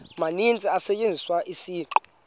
maninzi kusetyenziswa isiqu